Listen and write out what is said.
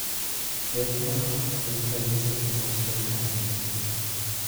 Yedhe maduoko piny ranyisi gin achiel kuom thiedh